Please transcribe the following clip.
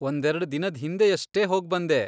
ಒಂದೆರ್ಡ್ ದಿನದ್ ಹಿಂದೆಯಷ್ಟೇ ಹೋಗ್ಬಂದೆ.